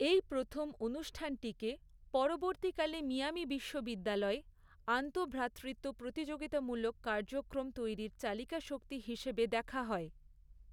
এই প্রথম অনুষ্ঠানটিকে পরবর্তীকালে মিয়ামি বিশ্ববিদ্যালয়ে আন্তঃভ্রাতৃত্ব প্রতিযোগিতামূলক কার্যক্রম গ্রীক উইক তৈরির চালিকা শক্তি হিসেবে দেখা হয়।